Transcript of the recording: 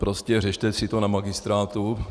Prostě řešte si to na magistrátu.